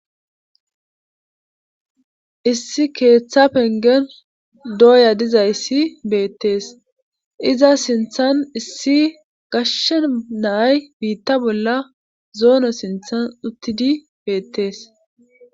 issi keeththa pengen dooya dizayssi beettees iza sinthan issi gashshe naay biitta bolla zoono sinthan uttidi beettees